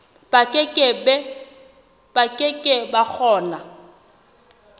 ba ke ke ba kgona